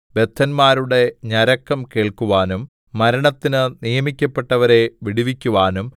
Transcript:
ബദ്ധന്മാരുടെ ഞരക്കം കേൾക്കുവാനും മരണത്തിന് നിയമിക്കപ്പെട്ടവരെ വിടുവിക്കുവാനും